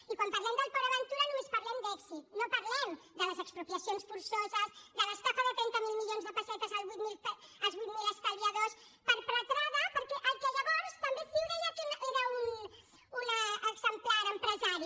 i quan parlem del port aventura només parlem d’èxit no parlem de les expropiacions forçoses de l’estafa de trenta miler milions de pessetes als vuit mil estalviadors perpetrada pel que llavors també ciu també deia que era un exemplar empresari